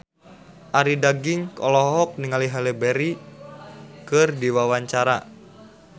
Arie Daginks olohok ningali Halle Berry keur diwawancara